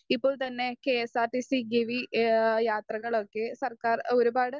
speaker 1 ഇപ്പോൾതന്നെ കെഎസ്ആർടിസി ഗിവി ഏഹ് യാത്രകളൊക്കെ സർക്കാർ ഒരുപാട്